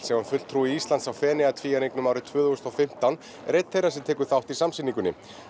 sem var fulltrúi Íslands á Feneyjatvíæringnum árið tvö þúsund og fimmtán er einn þeirra sem tekur þátt í samsýningunni